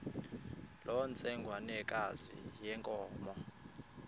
loo ntsengwanekazi yenkomo